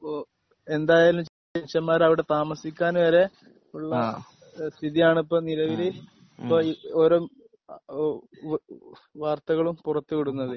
ഇപ്പൊ എന്തായാലും മനുഷ്യന്മാർ അവിടെ താമസിക്കാൻ വരെ ഉള്ള ആഹ് സ്ഥിതിയാണ് ഇപ്പൊ നിലവില് ഇപ്പൊ ഒരു ഏഹ് വാർത്തകളും പുറത്ത് വിടുന്നത്.